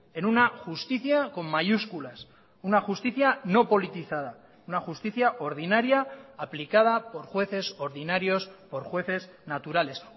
en una justicia con mayúsculas una justicia no politizada una justicia ordinaria aplicada por jueces ordinarios por jueces naturales